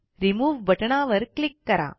remove बटणावर click करा